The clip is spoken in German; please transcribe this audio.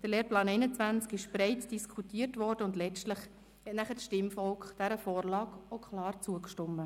Der Lehrplan 21 wurde breit diskutiert, und letztlich hat das Stimmvolk der Vorlage auch klar zugestimmt.